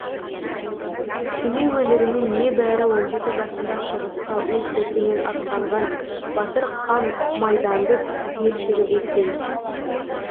семей өңірінен небәрі он жеті жасында соғысқа өз еркімен аттанған батыр қан майданды түгел жүріп өткен